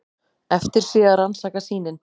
Eftir sé að rannsaka sýnin.